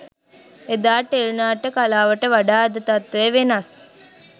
එදා ටෙලි නාට්‍ය කලාවට වඩා අද තත්ත්වය වෙනස්.